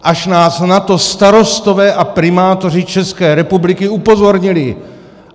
Až nás na to starostové a primátoři České republiky upozornili.